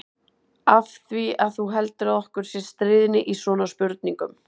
Af því að þú heldur að okkur sé stríðni í svona spurningum.